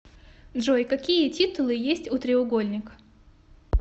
джой какие титулы есть у треугольникъ